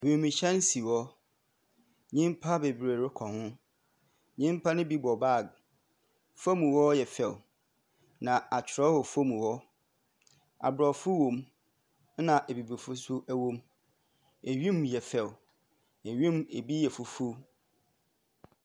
Wimuhyɛn si hɔ. Nnipa bebree rokɔ ho, nnipa ne bi bɔ bag, fam hɔ yɛ fɛw, na akyerɛw wɔ fam hɔ. Aborɔfo wɔ mu na Abibifo nso wɔ mu. Wi mu yɛ fɛw, wi mu bi yɛ fufuw.